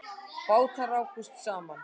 Bátar rákust saman